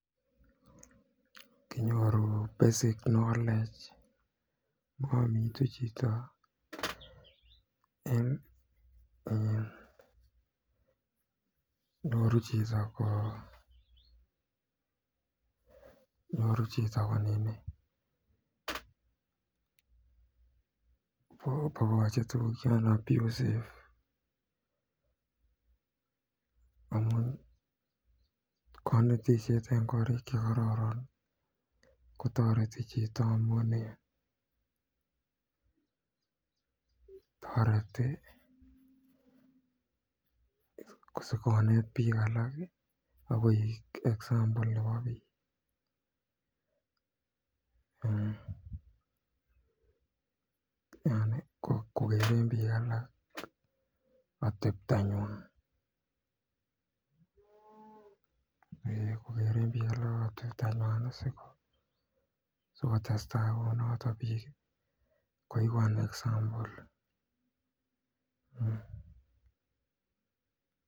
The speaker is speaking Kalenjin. Konyoru basic knowledge kong'omitu chito en nyoru chito ko nini kobakache tuguk chon abusive kanetishet en korik chekoraran kotareti chito asikonet bik alak akoek example nebo bik , kokeren bik alak atebtanyun sikotestai kounoton bik koyae emeet koeku example